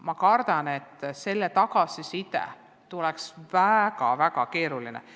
Ma kardan, et see tagasiside tuleks väga-väga erinev.